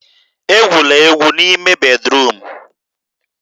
Egwula egwu n'ime bédrụum!